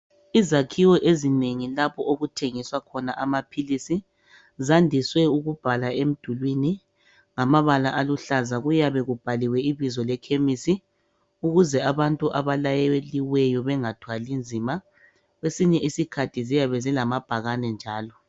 Izakhiwo eziningi lapho okuthengiswa khona amaphilisi, zandise ukubhalwa emdulwini ngamabala aluhlaza. Kuyabe kubhaliwe ibizo lekhemisi ukuze abantu abalayeliweyo bengathwali nzima. Kwesinye isikhathi ziyabe zilamabhakane njalo.